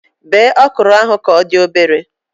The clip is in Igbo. Bee okro ahụ ka odị obere